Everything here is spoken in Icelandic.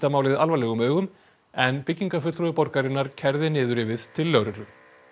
málið alvarlegum augum en byggingarfulltrúi borgarinnar kærði niðurrifið til lögreglu